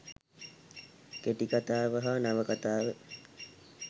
කෙටිකතාව හා නවකතාව